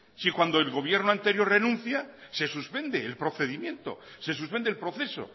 si cuando el gobierno anterior renuncia se suspende el procedimiento se suspende el proceso